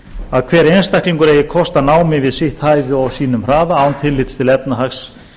að hver einstaklingur eigi kost á námi við sitt hæfi og á sínum hraða án tillits til efnahags